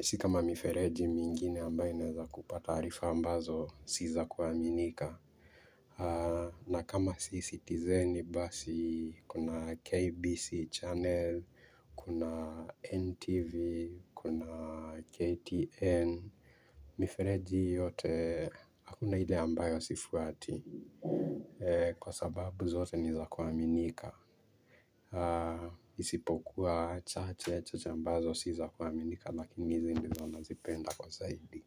Sikama mifereji mingine ambayo inaeza kupa taarifa ambazo si za kuaminika. Na kama si citizeni basi, kuna KBC channel, kuna NTV, kuna KTN. Mifereji yote hakuna ile ambayo sifuati, kwa sababu zote ni za kuaminika aa isipokuwa chache ambazo si za kwaminika lakini hizi ndizo nazipenda kwa zaidi.